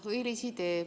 Õilis idee.